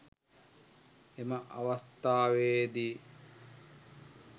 එම අවස්ථාවේ දී